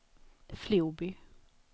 Floby